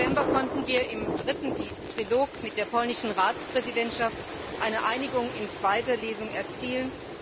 17. November konnten wir im dritten Trilog mit der polnischen Ratspräsidentschaft eine Einigung in zweiter Lesung erzielen.